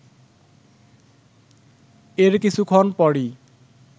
এর কিছুক্ষণ পরই